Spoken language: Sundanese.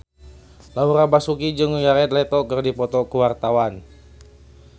Laura Basuki jeung Jared Leto keur dipoto ku wartawan